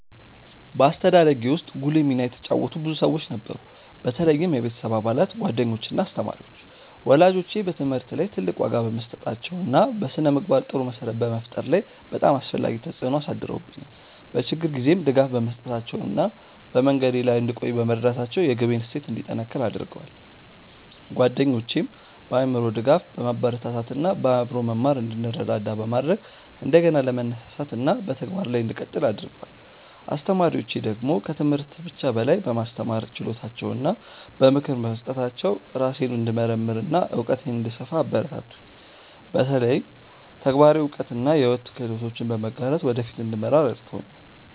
በአስተዳደጌ ውስጥ ጉልህ ሚና የተጫወቱ ብዙ ሰዎች ነበሩ፣ በተለይም የቤተሰብ አባላት፣ ጓደኞች እና አስተማሪዎች። ወላጆቼ በትምህርት ላይ ትልቅ ዋጋ በመስጠታቸው እና በስነ-ምግባር ጥሩ መሰረት በመፍጠር ላይ በጣም አስፈላጊ ተጽዕኖ አሳድረውብኛል፤ በችግር ጊዜም ድጋፍ በመስጠታቸው እና በመንገዴ ላይ እንድቆይ በመርዳታቸው የግቤን እሴት እንዲጠነክር አድርገዋል። ጓደኞቼም በአእምሮ ድጋፍ፣ በማበረታታት እና በአብሮ መማር እንድንረዳዳ በማድረግ እንደገና ለመነሳሳት እና በተግባር ላይ እንድቀጥል አግርገደዋል። አስተማሪዎቼ ደግሞ ከትምህርት ብቻ በላይ በማስተማር ችሎታቸው እና በምክር በመስጠታቸው ራሴን እንድመርምር እና እውቀቴን እንድሰፋ አበረታቱኝ፤ በተለይ ተግባራዊ እውቀት እና የሕይወት ክህሎቶችን በመጋራት ወደ ፊት እንድመራ ረድተውኛል።